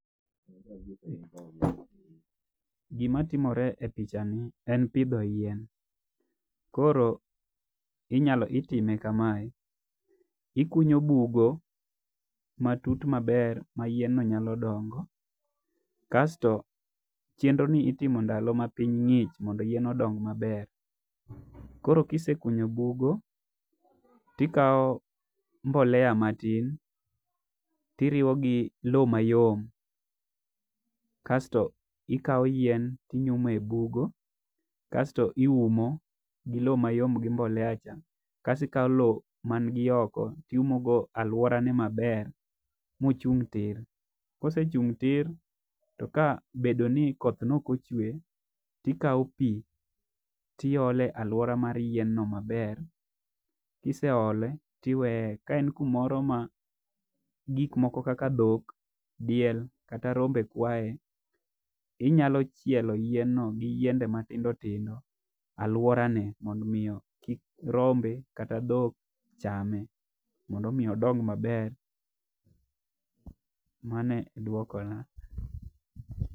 Gi ma timore e picha ni en pidho yien. Koro inyalo iyime kamae , ikunyo bugo matut ma ber ma yien no nyalo dongi. Aito chenro ni itimo ndalo ma piny ngich mondo yien odong ma ber. Koro kisekunyo bugo to ikawo mbolea matin ti iriwo gi lo ma yom kasto ikawo yien to inyumo e bugo kasto iumo gi loo ma yom gi mbolea cha. Kasto ikawo lo ma okoto iumo go aluore ne ma ber ma ochung tir. To ka osechung tir to ka obedo ni koth ne ok ochwe ti ikawo pi to iolo e aluora mar yien no ma ber kiseolo to iweye. Ka en kumoro ma gik kaka dhok, diel kata rombe kwaye inyalo chielo yien no gi yiende ma tindo tindo aluora no mondo gik kaka rombe kata dhok chame mondo mi odong ma ber. Mano e dwoko na.